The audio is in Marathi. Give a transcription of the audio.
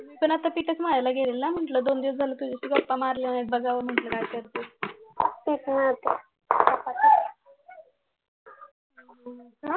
मी पण आता पीठच मळायला घेतलेलं म्हटलं दोन दिवस झालं गप्पा मारले नाहीत बघावं म्हणलं काय करतेस